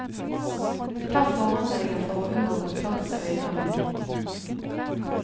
Ta forhåndsregler for å unngå kontakt med øyne og hud.